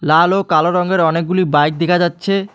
লাল ও কালো রঙের অনেকগুলি বাইক দেখা যাচ্ছে।